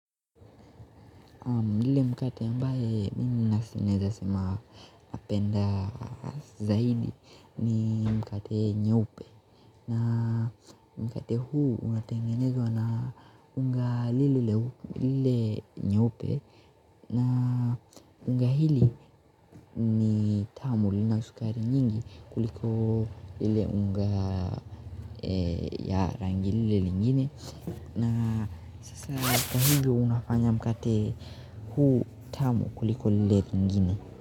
Lile mkate ambaye mimi naeza sema napenda zaidi ni mkate nyeupe na mkate huu unatengenezwa na unga lile nyeupe na unga hili ni tamu lina sukari nyingi kuliko lile unga ya rangi lile lingine na sasa kwa hivo unafanya mkate huu tamu kuliko lile nyingine.